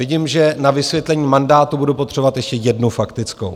Vidím, že na vysvětlení mandátu budu potřebovat ještě jednu faktickou.